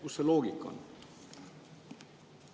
Kus see loogika on?